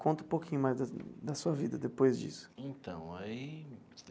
Conta um pouquinho mais da da sua vida depois disso. Então aí.